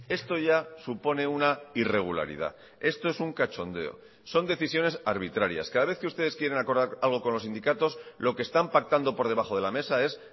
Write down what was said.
esto ya supone una irregularidad esto es un cachondeo son decisiones arbitrarias cada vez que ustedes quieren acordar algo con los sindicatos lo que están pactando por debajo de la mesa es